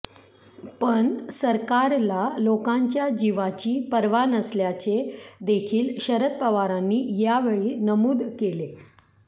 पण सरकारला लोकांच्या जीवाची पर्वा नसल्याचे देखील शरद पवारांनी यावेळी नमूद केले